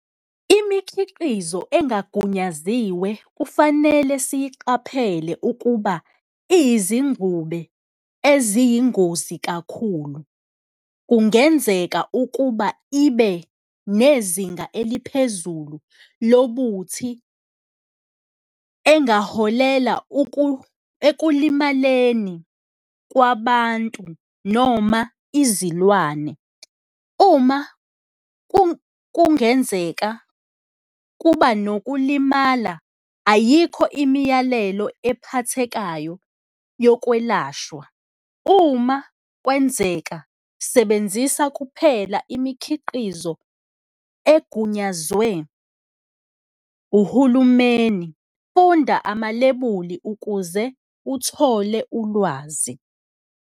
Imikhiqizo engagunyaziwe kufanele siyiqaphele ukuba iyizingube eziyingozi kakhulu, kungenzeka ukuba ibe nezinga eliphezulu lobuthi, engaholela ekulimaleni kwabantu noma izilwane. Uma kungenzeka kuba nokulimala, ayikho imiyalelo ephathekayo yokwelashwa, uma kwenzeka sebenzisa kuphela imikhiqizo egunyazwe uhulumeni, funda amalebuli ukuze uthole ulwazi.